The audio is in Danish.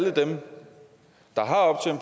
al den